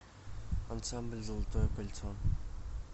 ансамбль золотое кольцо